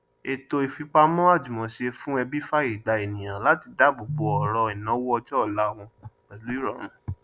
ètò ìfipamọ àjùmọṣe fún ẹbí fààyè gbà ènìyàn láti dáàbò bò ọrọ ìnáwó ọjọ ọla wọn pẹlú ìrọrùn